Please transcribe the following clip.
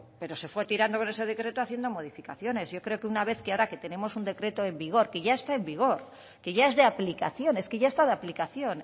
pero se fue tirando de ese decreto haciendo modificaciones yo creo que una vez que ahora que tenemos un decreto en vigor que ya está en vigor que ya es de aplicación es que ya está de aplicación